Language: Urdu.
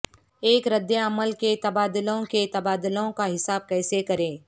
ایک ردعمل کے تبادلوں کے تبادلوں کا حساب کیسے کریں